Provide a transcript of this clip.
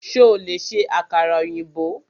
Ṣo lè ṣe àkàrà ọ̀yìnbó?